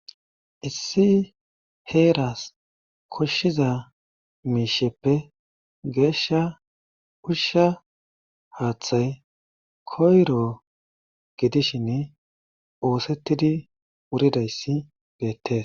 Issi heeras koshiza miisheppe geesha usha haththay koyro gidishin oosetidi wuridays beetes.